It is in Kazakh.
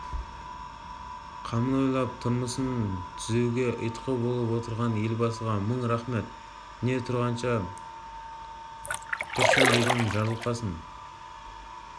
қамын ойлап тұрмысын түзеуге ұйтқы болып отырған елбасыға мың рахмет дүние тұрғанша тұрсын деген жарылқасын